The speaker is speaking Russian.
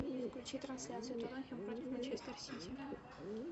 включи трансляцию тоттенхэм против манчестер сити